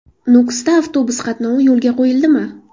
Nukusda avtobus qatnovi yo‘lga qo‘yildimi?.